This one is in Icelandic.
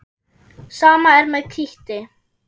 Sama er með kítti.